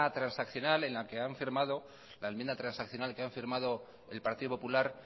transaccional en la que han firmado el partido popular